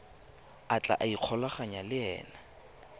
a tla ikgolaganyang le ena